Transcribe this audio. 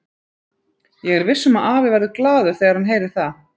Ég er viss um að afi verður glaður þegar hann heyrir það.